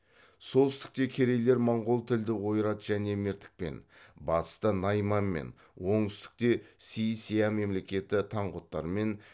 солтүстікте керейлер моңғол тілді ойрат және мертікпен батыста найманмен оңтүстікте си ся мемлекеті таңғұттармен